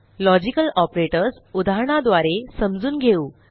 logical operators उदाहरणाद्वारे समजून घेऊ